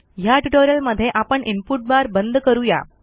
ह्या ट्युटोरियलमधे आपण इनपुट बार बंद करू या